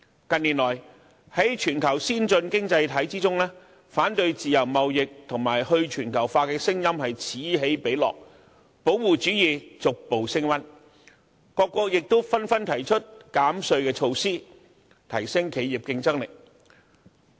近年來，在全球先進經濟體之中，反對自由貿易和去全球化的聲音此起彼落，保護主義逐步升溫，各國紛紛提出減稅措施，提升企業競爭力。